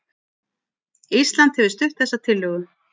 Ísland hefur stutt þessa tillögu